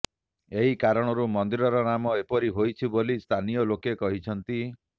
ଏହି କାରଣରୁ ମନ୍ଦିରର ନାମ ଏପରି ହୋଇଛି ବୋଲି ସ୍ଥାନୀୟ ଲୋକେ କୁହନ୍ତି